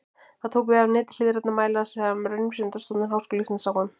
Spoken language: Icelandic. Það tók við af neti hliðrænna mæla sem Raunvísindastofnun Háskóla Íslands sá um.